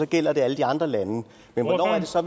gælder alle de andre lande hvornår